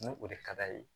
Ni o de ka d'a ye